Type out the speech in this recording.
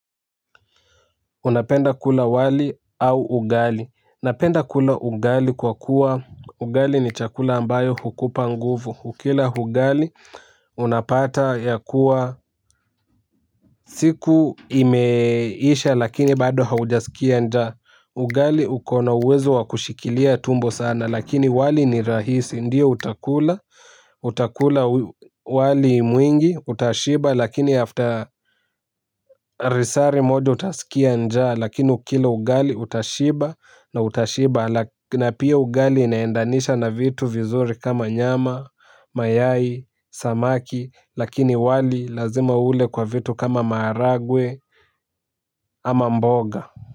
Unapenda kula wali au ugali. Napenda kula ugali kwa kuwa ugali ni chakula ambayo hukupa nguvu. Ukila ugali unapata ya kuwa siku imeisha lakini bado haujasikia njaa ugali ukona uwezo wa kushikilia tumbo sana lakini wali ni rahisi ndiyo utakula utakula wali mwingi. Utashiba lakini baada utaskia njaa lakini ukila ugali utashiba haraka. Na pia ugali. Inaendanisha na vitu vizuri kama nyama, mayai samaki lakini wali lazima ule kwa vitu kama maharagwe ama mboga.